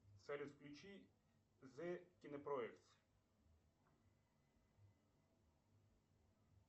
салют включи зе кинопроектс